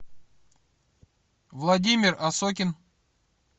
владимир осокин